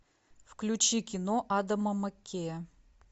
включи кино адама маккея